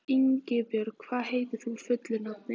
Ingibjörn, hvað heitir þú fullu nafni?